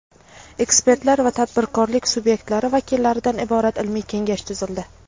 ekspertlar va tadbirkorlik subyektlari vakillaridan iborat ilmiy kengash tuzildi.